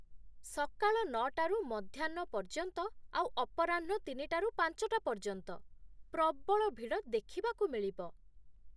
ସକାଳ ନଅ ଟାରୁ ମଧ୍ୟାହ୍ନ ପର୍ଯ୍ୟନ୍ତ ଆଉ ଅପରାହ୍ନ ତିନି ଟାରୁ ପାଞ୍ଚଟା ପର୍ଯ୍ୟନ୍ତ ପ୍ରବଳ ଭିଡ଼ ଦେଖିବାକୁ ମିଳିବ ।